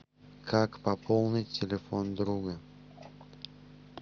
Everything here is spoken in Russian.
как пополнить телефон друга